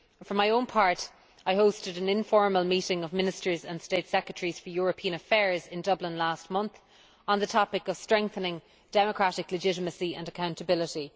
For my own part, I hosted an informal meeting of Ministers and State Secretaries for European Affairs in Dublin last month on the topic of strengthening democratic legitimacy and accountability.